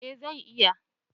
eh zai iya